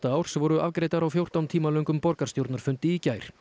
árs voru afgreiddar á fjórtán tíma löngum borgarstjórnarfundi í gær